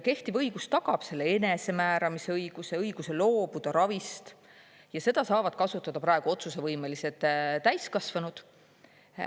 Kehtiv õigus tagab selle enesemääramise õiguse, õiguse loobuda ravist, ja seda saavad kasutada praegu otsusevõimelised täiskasvanud.